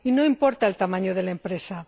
Y no importa el tamaño de la empresa.